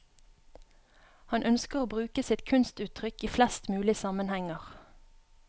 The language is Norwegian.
Han ønsker å bruke sitt kunstuttrykk i flest mulig sammenhenger.